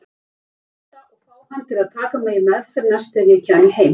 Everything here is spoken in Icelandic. Gauta og fá hann til að taka mig í meðferð næst þegar ég kæmi heim.